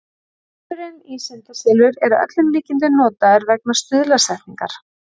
Selurinn í syndaselur er að öllum líkindum notaður vegna stuðlasetningar.